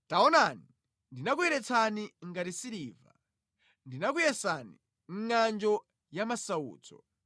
Taonani, ndinakuyeretsani ngati siliva; ndinakuyesani mʼngʼanjo yamasautso.